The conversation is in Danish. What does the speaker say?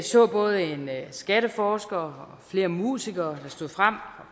så både en skatteforsker og flere musikere der stod frem